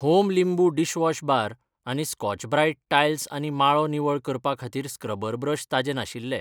Home लिंबू dishwash bar आनी Scotch Brite tiles आनी माळो निवळ करपा खातीर स्क्रबर ब्रश ताजें नाशिल्ले.